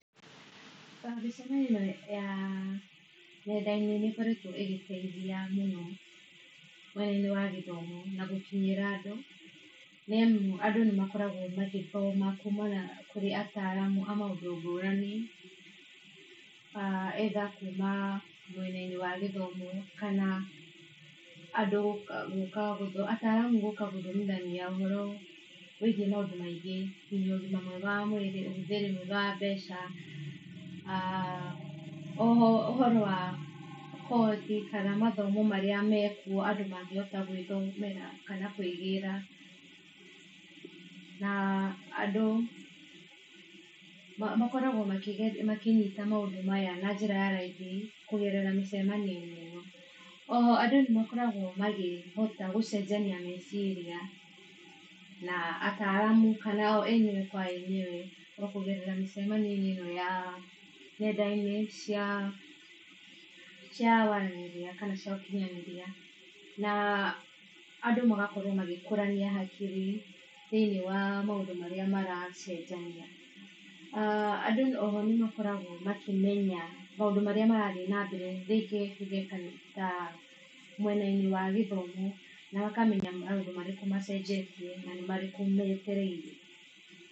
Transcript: Mĩcemanio ya nendainĩ nĩ ĩkoretwo ĩgĩteithia mũno mwena inĩ wa gĩthomo na gũkinyĩra andũ, nĩ amũ andũ nĩmakoragwo magĩthoma kũmana kũrĩ ataramũ amaũndũ ngũrani, either kuma mwena inĩ wa gĩthomo kana andũ gũka gũthoma ataramũ gũka gũthomithania ũhoro wĩgie maũndũ maingĩ ngĩnya ũgĩma mwega wa mwĩrĩ, ũhũthĩri mwega wa mbeca. Oho ũhoro wa kothi kana mathomo maria mekũo kana gwĩthomera kana kwĩgĩra na andũ makoragwo makĩge makĩnyita maũndũ maya na njĩra ya raĩthi kũgerera mĩcemanioinĩ ĩno , oho andũ nĩmakoragwo makĩhota gũcenjania meciria na ataramu kana o enyewe kwa enyewe o kũgerera mĩcemanioinĩ ya nendainĩ cia wanirĩria kana cia ũkinyanĩria na andũ magakorwo magĩkũrania hakiri thĩinĩ wa maũndũ marĩa maracenjania aah andũ oho nĩmakoragwo makĩ menya maũndũ marĩa marathiĩ na mbere rĩngĩ tũge ta mwenainĩ wa gĩthomo na akamenya nĩ maũndũ marĩkũ macenjetie na nĩmarĩkũ metereire.